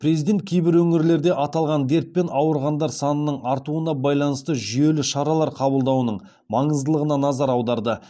президент кейбір өңірлерде аталған дертпен ауырғандар санының артуына байланысты жүйелі шаралар қабылдауының маңыздылығына назар аударды